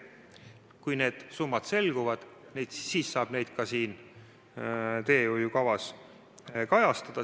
Kui need summad selguvad, siis saab neid ka selles teehoiukavas kajastada.